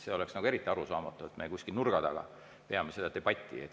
See oleks nagu eriti arusaamatu, kui me kuskil nurga taga peaksime seda debatti.